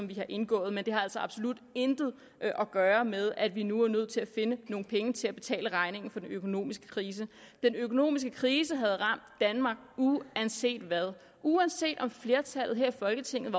vi har indgået men det har altså absolut intet at gøre med at vi nu er nødt til at finde nogle penge til at betale regningen for den økonomiske krise den økonomiske krise havde ramt danmark uanset hvad uanset om flertallet her i folketinget